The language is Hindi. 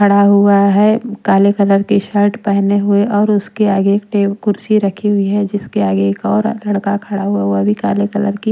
खड़ा हुआ है काले कलर की शर्ट पहने हुए और उसके आगे टेब कुर्सी रखी हुई है जिसके आगे एक और लड़का खड़ा हुआ वो भी काले कलर की--